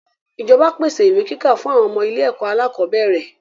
ìjọba pèsè ìwé kíkà fún àwọn ọmọ ilé-ẹ̀kọ́ alákọ̀bẹ́ẹ́rẹ̀.